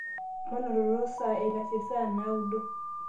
manototo saa eitashe saa naudo